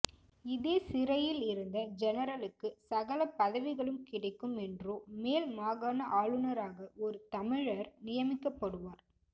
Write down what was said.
இதே சிறையிலிருந்த ஜெனரலுக்கு சகல பதவிகளும் கிடைக்கும் என்றோ மேல் மாகாண ஆளுனராக ஒரு தமிழர் நியமிக்கப்படுவார்